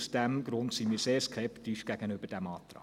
Aus diesem Grund sind wir sehr skeptisch gegenüber diesem Antrag.